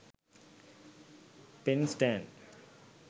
pen stand